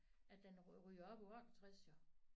At den ryger op på 68 jo